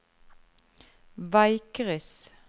veikryss